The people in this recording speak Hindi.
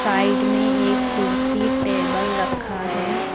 साइड में एक कुर्सी टेबल रखा है।